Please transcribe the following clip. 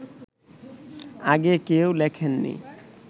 আগে কেউ লেখেননি